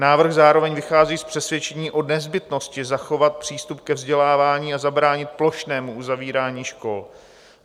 Návrh zároveň vychází z přesvědčení o nezbytnosti zachovat přístup ke vzdělávání a zabránit plošnému uzavírání škol.